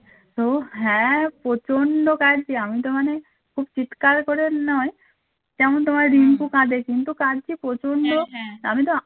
তো হ্যা প্রচন্ড কাঁদছ আমি তো মান খুব চিৎকার করে নয় যেমন তোমার রিন্টু কান্দে রিন্টু কাঁদছে প্রচন্ড আমি তো